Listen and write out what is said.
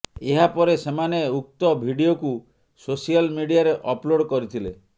ଏହାପରେ ସେମାନେ ଉକ୍ତ ଭିଡିଓକୁ ସୋସିଆଲ ମିଡିଆରେ ଅପଲୋଡ୍ କରିଥିଲେ